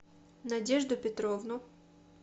надежду петровну